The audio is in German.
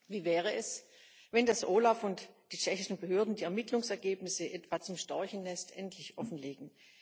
Wie wäre es, wenn das OLAF und die tschechischen Behörden die Ermittlungsergebnisse etwa zum Storchennest endlich offenlegen?